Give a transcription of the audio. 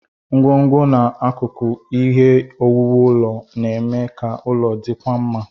Ngwongwo na akụkụ ihe owuwu ụlọ na-eme ka ụlọ dịkwuo mma.